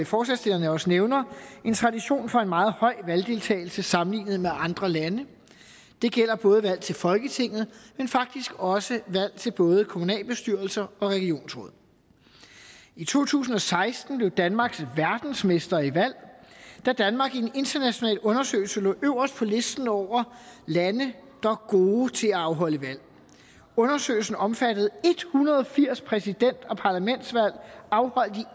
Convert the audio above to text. forslagsstillerne også nævner en tradition for en meget høj valgdeltagelse sammenlignet med andre lande det gælder både valg til folketinget men faktisk også valg til både kommunalbestyrelser og regionsråd i to tusind og seksten blev danmark verdensmester i valg da danmark i en international undersøgelse lå øverst på listen over lande der gode til at afholde valg undersøgelsen omfattede en hundrede og firs præsident og parlamentsvalg afholdt